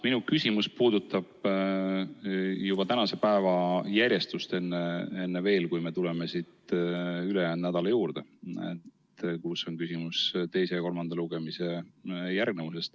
Minu küsimus puudutab tänase päeva järjestust – seda siis enne veel, kui me tuleme ülejäänud nädala juurde, kus on küsimus teise ja kolmanda lugemise järgnevuses.